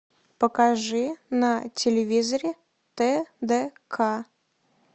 покажи на телевизоре тдк